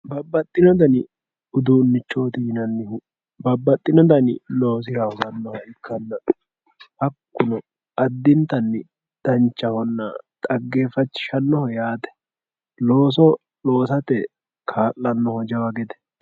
babbaxino dani uduunichooti yinannihu babbaxino dani loosira hosannoha ikkanna hakkuno addintanni danchahonna xaggeeffachishannoho yaate looso loosate kaa'lannoho jawa gede.